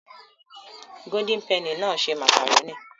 Golden penny náà ṣe màkàrónì